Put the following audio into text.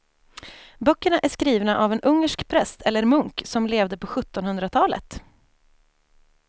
Böckerna är skrivna av en ungersk präst eller munk som levde på sjuttonhundratalet.